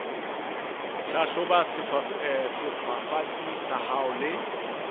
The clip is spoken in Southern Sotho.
hlahloba sefafatsi sa hao le